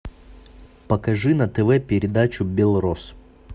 покажи на тв передачу белрос